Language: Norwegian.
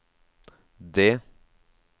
D